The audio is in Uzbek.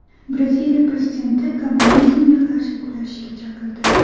Braziliya prezidenti kommunizmga qarshi kurashishga chaqirdi.